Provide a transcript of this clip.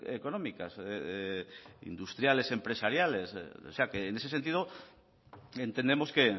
económicas industriales empresariales o sea que en ese sentido entendemos que